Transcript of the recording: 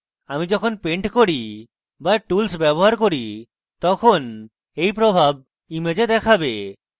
আমি যখন paint করি be tools ব্যবহার করি তখন এই প্রভাব image দেখাবে